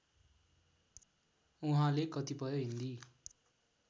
उहाँले कतिपय हिन्दी